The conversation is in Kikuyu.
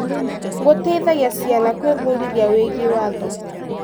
Gũteithagia ciana gwĩbundithia wĩgiĩ watho.